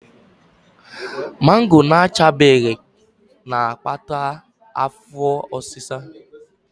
Mangoro na-achabeghị na-akpata afọ ọsịsa.